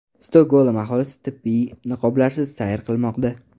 Stokgolm aholisi tibbiy niqoblarsiz sayr qilmoqda.